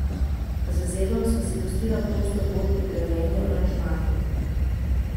Z Zedom sva si pustila prosto pot pri grajenju aranžmajev.